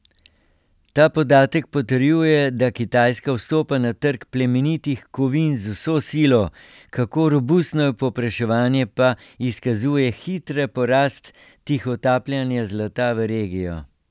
Ta podatek potrjuje, da Kitajska vstopa na trg plemenitih kovin z vso silo, kako robustno je povpraševanje, pa izkazuje hitra porast tihotapljenja zlata v regijo.